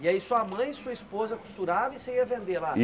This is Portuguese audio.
E aí sua mãe e sua esposa costuravam e você ia vender lá?